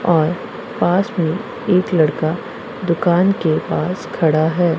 और पास में एक लड़का दुकान के पास खड़ा है।